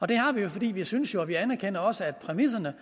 det har vi jo fordi vi synes og vi anerkender også at præmisserne